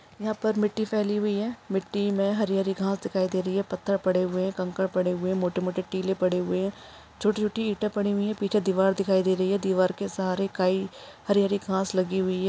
यहाँ पर मिट्टी फैली हुई है मिट्टी में हरी-हरी घास दिखाई दे रही है पत्थर पड़े हुए हैं कंकड़ पड़े हुए हैं मोटे मोटे टीले पड़े हुए है छोटे-छोटे इटे पड़ी हुई है पीछा दिवार दिखाई दे रही है दिवार के सहारे कई हरी-हरी घास लगी हुई है।